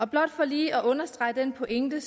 blot for lige at understrege den pointe